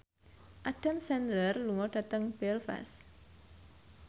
Adam Sandler lunga dhateng Belfast